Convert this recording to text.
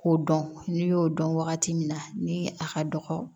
K'o dɔn n'i y'o dɔn wagati min na ni a ka dɔgɔ